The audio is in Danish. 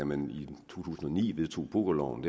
man i to tusind og ni vedtog pokerloven